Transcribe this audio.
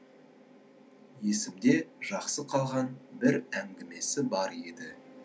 есімде жақсы қалған бір әңгімесі бар еді